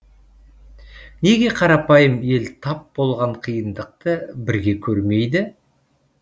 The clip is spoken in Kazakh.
неге қарапайым ел тап болған қиындықты бірге көрмейді